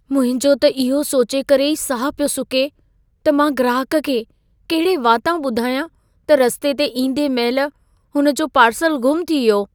मुंहिंजो त इहो सोचे करे ई साहु पियो सुके त मां ग्राहकु खे कहिड़े वातां ॿुधायां त रस्ते ते ईंदे महिल हुन जो पार्सलु ग़ुम थी वियो।